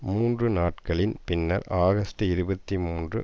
மூன்று நாட்களின் பின்னர் ஆகஸ்ட் இருபத்தி மூன்று